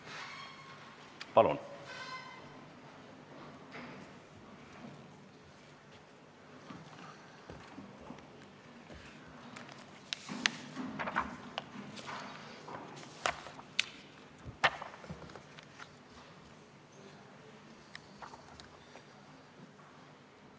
Palun!